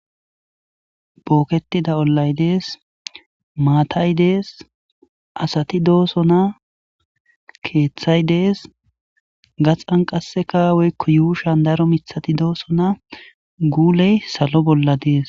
Bokketida Olay de'es.maththay de'es.asatti dosonna.keththay de'es.kaxxan qasekka ushshan daro miththatti dossonna.gulle salo bolla de'es.